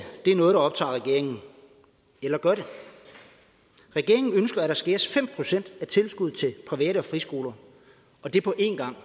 er noget der optager regeringen eller gør det regeringen ønsker at der skæres fem procent af tilskuddet til privat og friskoler og det er på en gang